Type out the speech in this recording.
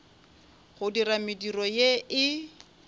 go dira mediro ye e